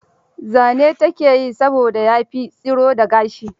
Zane ta ke yi saboda ya fi tsiro da gashi.